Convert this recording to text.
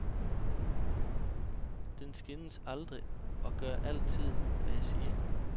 Den skændes aldrig og gør altid, hvad jeg siger.